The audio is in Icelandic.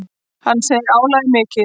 Hann segir álagið mikið.